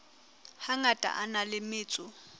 hangata a na le metso